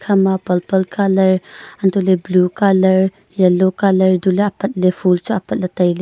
khama purple colour hantoh ley blue colour yellow colour dule apat le phool chu apat le taile.